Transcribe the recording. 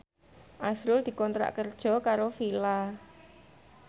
azrul dikontrak kerja karo Fila